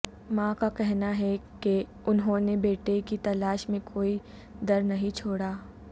ماں کا کہنا ہے کہ انھوں نے بیٹے کی تلاش میں کوئی در نہیں چھوڑا